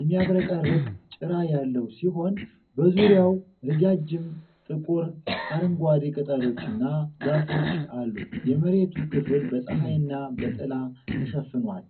የሚያብረቀርቅ ጭራ ያለው ሲሆን፤ በዙሪያው ረጃጅም ጥቁር አረንጓዴ ቅጠሎችና ዛፎች አሉ። የመሬቱ ክፍል በፀሐይና በጥላ ተሸፍኗል።